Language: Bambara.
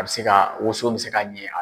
A bɛ se ka woson bɛ se ka ɲɛ yan.